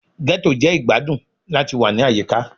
Ghetto jẹ igbadun lati wa ni ayika